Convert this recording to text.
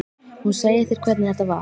Hún segir þér hvernig þetta var.